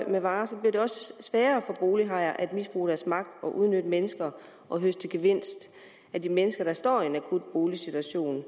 med varer bliver det også sværere for bolighajer at misbruge deres magt og udnytte mennesker og høste gevinst af de mennesker der står i en akut boligsituation